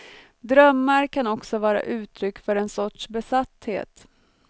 Drömmar kan också vara uttryck för en sorts besatthet.